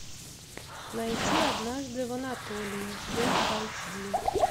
найти однажды в анатолии фул айч ди